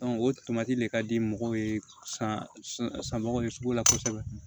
o de ka di mɔgɔw ye san nɔgɔ ye sugu la kosɛbɛ